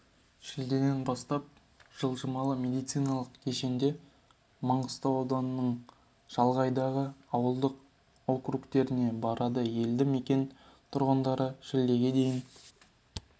шілдеден бастап жылжымалы медициналық кешеңдер маңғыстау ауданының шалғайдағы ауылдық округтеріне барады елді мекен тұрғындары шілдеге дейін